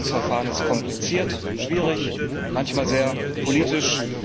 Das Entlastungsverfahren ist kompliziert, schwierig, manchmal sehr politisch.